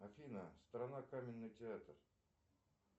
афина страна каменный театр